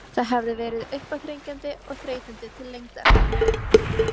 Það hafði verið uppáþrengjandi og þreytandi til lengdar.